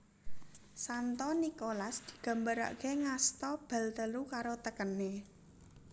Santo Nikolas digambaraké ngasta bal telu karo tekené